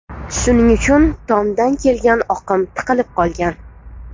Shuning uchun, tomdan kelgan oqim tiqilib qolgan.